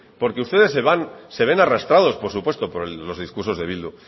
porque ustedes se ven arrastrados por supuesto por los discursos de bildu